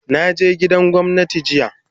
Na je gidan gwamnati jiya